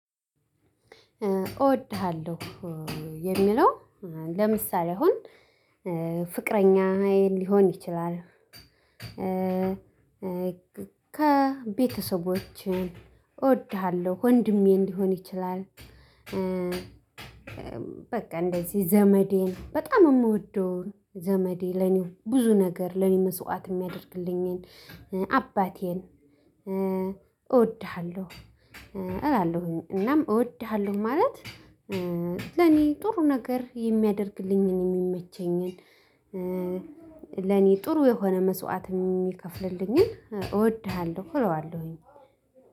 እወድሃለሁ የሚለው ለምሳሌ አሁን ፍቅረኛ ሊሆን ይችላል። ከቤተሰቦች እወድሃለሁ ወንድሜ እንዲሆን ይችላል። በቃ እንደዚህ ዘመዴን በጣም የምወደውን ዘመዴ ለኔ ብዙ ነገር ለኔ መስዋዕት የሚያደርግልኝን አባቴን እወድሃለሁ። እላለሁኝ እናም እወድሃለሁ ማለት ለኔ ጥሩ ነገር የሚያደርግልኝን የሚመቸኝን ለኔ ጥሩ የሆነ መስዋዕት የሚከፍልልኝን እወድሃለሁ እለዋለሁ።